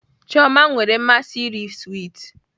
Chioma nwere mmasị iri swiiti